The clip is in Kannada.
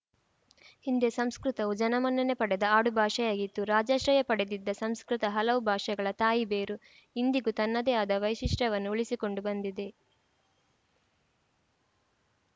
ಹಿಂದೆ ಸಂಸ್ಕೃತವು ಜನಮನ್ನಣೆ ಪಡೆದ ಆಡು ಭಾಷೆಯಾಗಿತ್ತು ರಾಜಾಶ್ರಯ ಪಡೆದಿದ್ದ ಸಂಸ್ಕೃತ ಹಲವು ಭಾಷೆಗಳ ತಾಯಿ ಬೇರು ಇಂದಿಗೂ ತನ್ನದೆ ಆದ ವೈಶಿಷ್ಟ್ಯವನ್ನುಉಳಿಸಿಕೊಂಡು ಬಂದಿದೆ